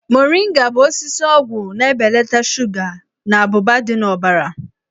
Moringa bụ osisi ọgwụ na-ebelata shuga na abụba dị n'ọbara.